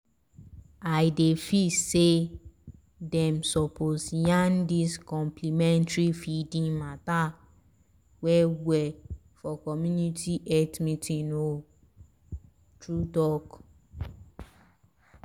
i dey feel say dem suppose yarn dis complementary feeding mata well-well for community health meetings o true-talk.